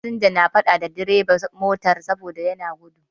Fasinjoji na faɗa da bireban motar saboda yana gudu.